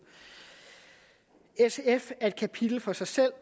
sf er kapitel for sig selv